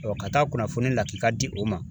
Dɔ ka taa kunnafoni lakika di o ma